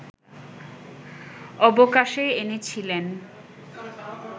অবকাশে এনেছিলেন